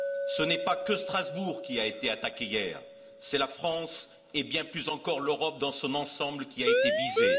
Ce n'est pas que Strasbourg qui a été attaquée hier, c'est la France et, bien plus encore, l'Europe dans son ensemble qui a été visée.